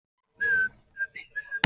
Þú varst ekki í fangelsinu.